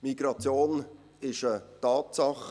Migration ist eine Tatsache.